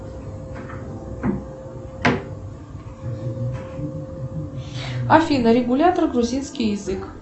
афина регулятор грузинский язык